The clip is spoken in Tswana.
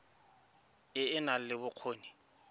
e e nang le bokgoni